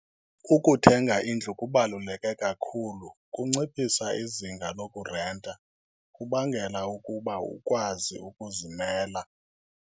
Ukuthenga indlu kubaluleke kakhulu, kunciphisa izinga lokurenta, kubangela ukuba ukwazi ukuzimela.